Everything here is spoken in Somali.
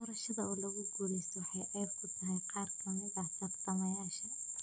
Doorashada oo laga guulaysto waxay ceeb ku tahay qaar ka mid ah tartamayaasha.